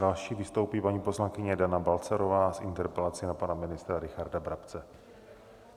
Další vystoupí paní poslankyně Dana Balcarová s interpelací na pana ministra Richarda Brabce.